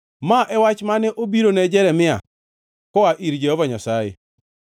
Ma e wach mane obirone Jeremia koa ir Jehova Nyasaye: